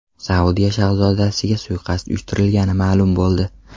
Saudiya shahzodasiga suiqasd uyushtirilgani ma’lum bo‘ldi.